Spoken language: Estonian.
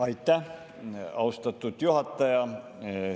Aitäh, austatud juhataja!